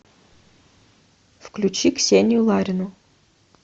включи ксению ларину